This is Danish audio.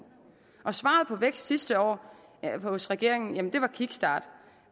og svaret på vækst sidste år hos regeringen var kickstart